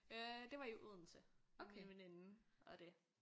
Øh det var i Odense med min veninde og det